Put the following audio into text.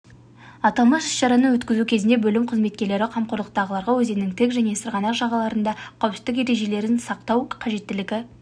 аталмыш іс-шараны өткізу кезінде бөлім қызметкерлері қомақорлықтағыларға өзеннің тік және сырғанақ жағаларында қауіпсіздік ережелерін сақтау қажеттілігі